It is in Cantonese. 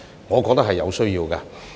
我認為這是有需要的。